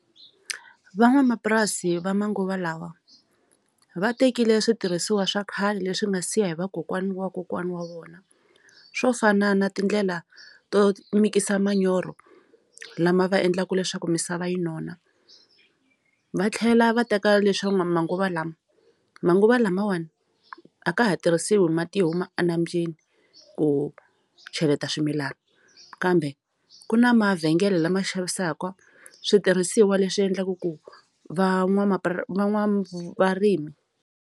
Van'wamapurasi va manguva lawa va tekile switirhisiwa swa khale leswi nga siya hi va kokwani wa kokwana wa vona swo fana na tindlela to mixer manyoro lama va endlaku leswaku misava yi nona va tlhela va teka leswa n'wa manguva lama manguva lamawani a ka ha tirhisiwi mati huma enambyeni ku cheleta swimilana kambe ku na mavhengele lama xavisaka switirhisiwa leswi endlaka ku van'wamapura van'wavarimi.